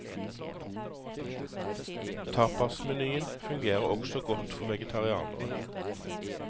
Tapasmenyen fungerer også godt for vegetarianere.